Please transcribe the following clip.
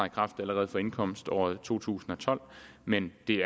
kraft allerede fra indkomståret to tusind og tolv men det er